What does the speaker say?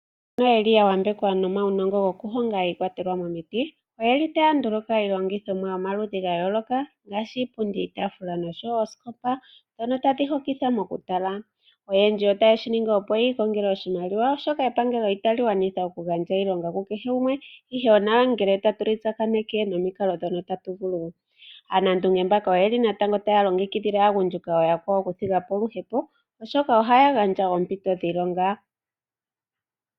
Mbono ya yambekwa nomaunongo gokuhonga iikwatelwa momiti, otaya hongo iihongomwa yomaludhi ga yooloka ngaashi iipundi, iitaafula nosho wo oosikopa ndhono tadhi hokitha mokutala. Oyendji otaye shi ningi, opo yi ikongele oshimaliwa, oshoka epangelo itali gwanitha okugandja iilonga ku kehe gumwe, ihe onawa ngele tatu li tsakaneke nomikalo ndhono tatu vulu. Aanandunge mbaka natango otaya longekidhile aagundjuka ooyakwawo okuthiga po oluhepo, oshoka ohaya gandja oompito dhiilonga.